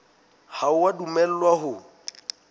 ha o a dumellwa ho